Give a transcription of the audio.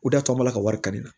O de y'a to an b'a ka wari ka na